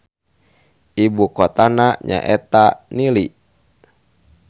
Ibu kotana nyaeta Nili.